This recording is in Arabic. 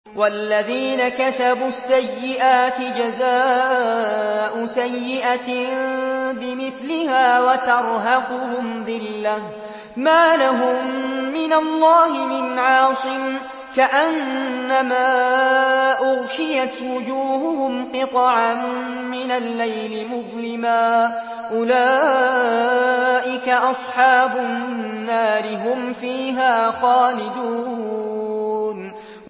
وَالَّذِينَ كَسَبُوا السَّيِّئَاتِ جَزَاءُ سَيِّئَةٍ بِمِثْلِهَا وَتَرْهَقُهُمْ ذِلَّةٌ ۖ مَّا لَهُم مِّنَ اللَّهِ مِنْ عَاصِمٍ ۖ كَأَنَّمَا أُغْشِيَتْ وُجُوهُهُمْ قِطَعًا مِّنَ اللَّيْلِ مُظْلِمًا ۚ أُولَٰئِكَ أَصْحَابُ النَّارِ ۖ هُمْ فِيهَا خَالِدُونَ